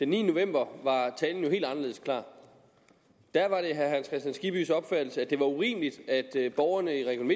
niende november var talen jo helt anderledes klar da var det herre hans kristian skibbys opfattelse at det var urimeligt at borgerne i region